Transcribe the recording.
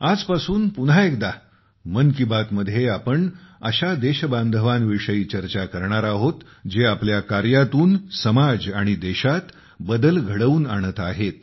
आजपासून पुन्हा एकदा 'मन की बात' मध्ये आपण अशा देशबांधवां विषयी चर्चा करणार आहोत जे आपल्या कार्यातून समाज आणि देशात बदल घडवून आणत आहेत